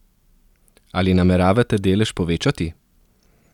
Ali nameravate delež povečati?